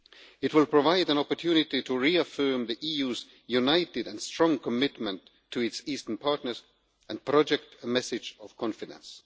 It will provide an opportunity to reaffirm the EU's united and strong commitment to its Eastern partners and project a message of confidence.